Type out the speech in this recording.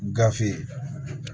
Gafe